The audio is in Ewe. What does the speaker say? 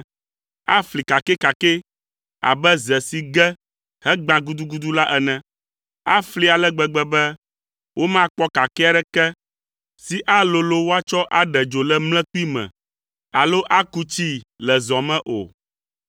Afli kakɛkakɛ abe ze si ge hegbã gudugudu la ene. Afli ale gbegbe be, womakpɔ kakɛ aɖeke si alolo woatsɔ aɖe dzo le mlekpui me alo aku tsii le zɔ me o.”